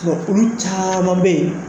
Olu caman bɛ yen